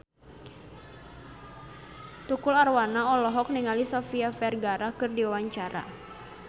Tukul Arwana olohok ningali Sofia Vergara keur diwawancara